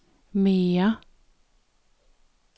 mere